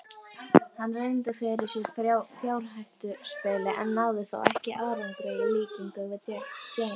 Hann reyndi fyrir sér í fjárhættuspili en náði þó ekki árangri í líkingu við James.